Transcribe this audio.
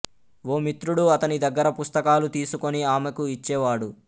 ఓ మిత్రుడు అతని దగ్గర పుస్తకాలు తీసుకుని ఆమెకు ఇచ్చేవాడు